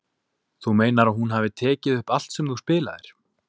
Þú meinar að hún hafi tekið upp allt sem þú spilaðir?